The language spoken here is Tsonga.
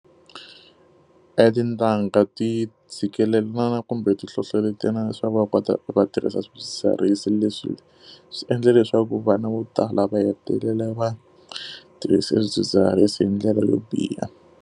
Etintangha ti tshikelelana kumbe ti hlohletelelana leswaku va kota va tirhisa swidzidziharisi leswi swi endle leswaku vana vo tala va hetelela va tirhisa swidzidziharisi hi ndlela leyo biha.